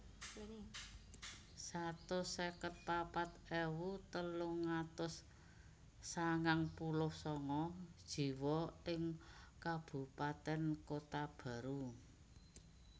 Satus seket papat ewu telung atus sangang puluh sanga jiwa ing kabupatèn Kota Baru